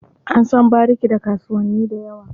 An san bariki da kasuwanni da yawa.